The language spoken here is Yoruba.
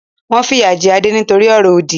Wọn fìyà jẹ Adé nítorí ọ̀rọ̀-òdì.